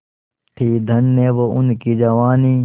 थी धन्य वो उनकी जवानी